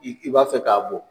I i b'a fɛ k'a bɔn.